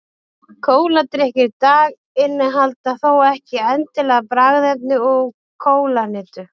kóladrykkir í dag innihalda þó ekki endilega bragðefni úr kólahnetu